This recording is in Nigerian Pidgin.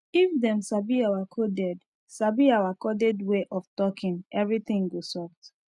if dem sabi our coded sabi our coded way of talking everything go soft